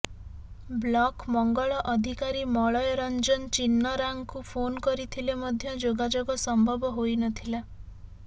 block ମଙ୍ଗଳ ଅଧିକାରୀ ମଳୟ ରଂଜନ ଚିନ୍ନରାଙ୍କୁ ଫୋନ୍ କରିଥିଲେ ମଧ୍ୟ ଯୋଗାଯୋଗ ସମ୍ଭବ ହୋଇନଥିଲା